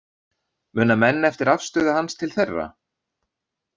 Muna menn eftir afstöðu hans til þeirra?